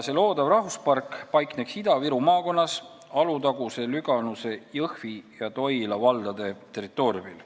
Loodav rahvuspark paikneks Ida-Viru maakonnas, Alutaguse, Lüganuse, Jõhvi ja Toila valla territooriumil.